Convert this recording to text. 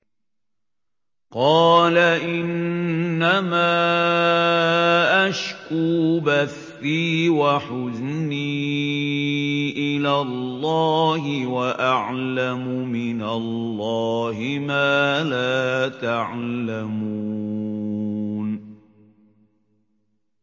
قَالَ إِنَّمَا أَشْكُو بَثِّي وَحُزْنِي إِلَى اللَّهِ وَأَعْلَمُ مِنَ اللَّهِ مَا لَا تَعْلَمُونَ